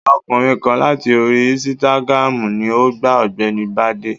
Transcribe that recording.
Ọkùnrin kan láti orí insitagiramu ni o gba ọ̀gbẹ́ni Bade.